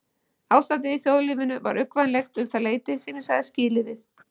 Ástandið í þjóðlífinu var uggvænlegt um það leyti sem ég sagði skilið við